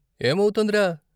ఏమౌతోంది రా?